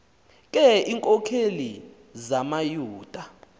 ke iinkokeli zamayuda